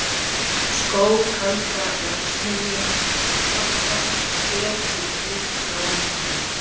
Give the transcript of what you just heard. Skóg kaldra verksmiðjustrompa ber við djúpbláan himin